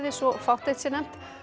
svo fátt eitt sé nefnt